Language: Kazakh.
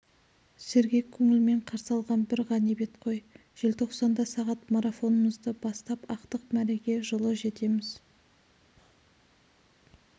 сергек көңілмен қарсы алған бір ғанибет қой желтоқсанда сағат марафонымызды бастап ақтық мәреге жылы жетеміз